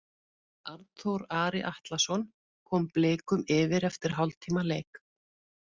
Arnþór Ari Atlason kom Blikum yfir eftir hálftíma leik.